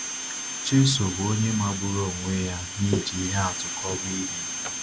Jésù bụ onye magburu onwe ya n’iji ihe atụ kọwaa ihe.